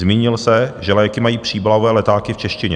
Zmínil se, že léky mají příbalové letáky v češtině.